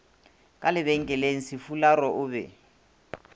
ka lebenkeleng sefularo o be